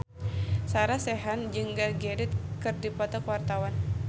Sarah Sechan jeung Gal Gadot keur dipoto ku wartawan